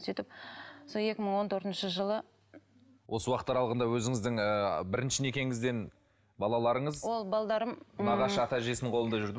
сөйтіп сол екі мың он төртінші жылы осы уақыт аралығында өзіңіздің ыыы бірінші некеңізден балаларыңыз ол нағашы ата әжесінің қолында жүрді